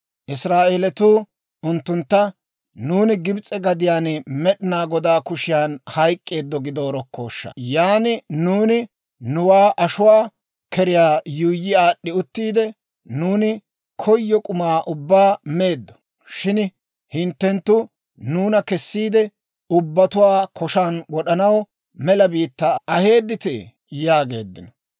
Israa'eelatuu unttuntta, «Nuuni Gibs'e gadiyaan Med'inaa Godaa kushiyaan hayk'k'eeddo gideerokkooshsha! Yan nuuni nuwaa ashuwaa keriyaa yuuyyi aad'd'i uttiide, nuuni koyo k'umaa ubbaa meeddo; shin hinttenttu nuuna kessiide, ubbatuwaa koshaan wod'anaw mela biittaa aheedditee?» yaageeddino.